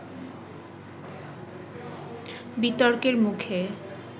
বিতর্কের মুখে